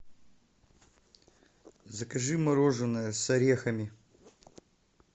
закажи мороженое с орехами